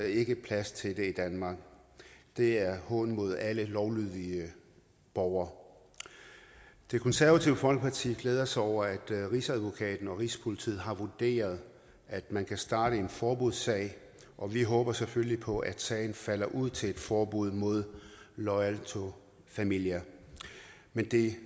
ikke plads til det i danmark det er en hån mod alle lovlydige borgere det konservative folkeparti glæder sig over at rigsadvokaten og rigspolitiet har vurderet at man kan starte en forbudssag og vi håber selvfølgelig på at sagen falder ud til et forbud mod loyal to familia men det